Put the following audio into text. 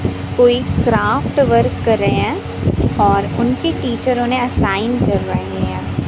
कोई craft work कर रहे हैं और उनके टीचर उन्हे असाइन कर रहे हैं।